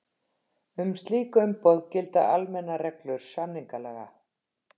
Um slík umboð gilda almennar reglur samningalaga.